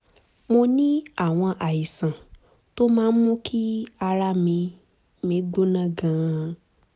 mo ní àwọn àìsàn tó máa ń mú kí ara mi mi gbóná gan-an